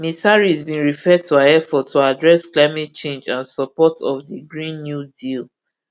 ms harris bin refer to her effort to address climate change and support of di green new deal